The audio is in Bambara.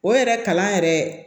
O yɛrɛ kalan yɛrɛ